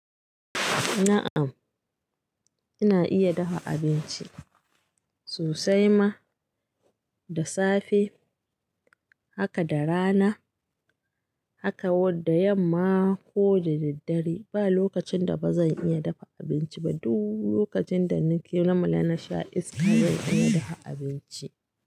Na'm ina iya dafa abinci sosai ma, da safe haka da rana haka wadda yamma ko da daddare ba lokacin da ba zan iya dafa abinci ba duk lokacin da nake lumala na sha iska zan iya dafa abinci.